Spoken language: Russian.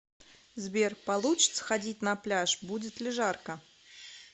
сбер получится ходить на пляж будет ли жарко